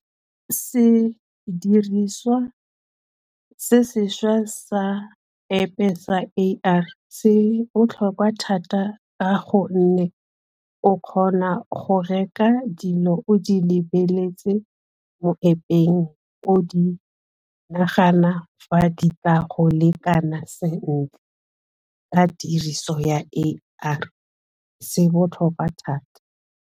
Se diriswa se sešwa sa App e sa A_I se botlhokwa thata ka gonne o kgona go reka dilo o di lebeletse mo App-eng o di nagana fa di tla go lekana sentle ka tiriso ya a A_I se botlhokwa thata.